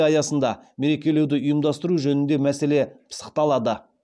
аясында мерекелеуді ұйымдастыру жөніндегі мәселе пысықталады